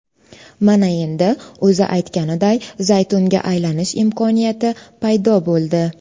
Mana endi o‘zi aytganiday zaytunga aylanish imkoniyati paydo bo‘ldi.